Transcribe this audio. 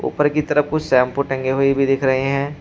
ऊपर की तरफ कुछ शैंपू टंगे हुई भी दिख रहे हैं।